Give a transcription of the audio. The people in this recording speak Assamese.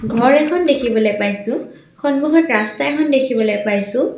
ঘৰ এখন দেখিবলৈ পাইছোঁ সন্মুখত ৰাস্তা এখন দেখিবলৈ পাইছোঁ।